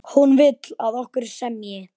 Hann vill, að okkur semji.